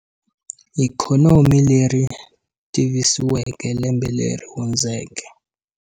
Ikhonomi leri tivisiweke lembe leri hundzeke.